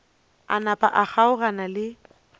a napa a kgaogana le